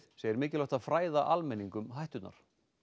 segir mikilvægt að fræða almenning um hætturnar